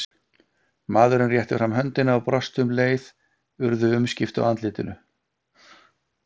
Maðurinn rétti fram höndina og brosti og um leið urðu umskipti á andlitinu.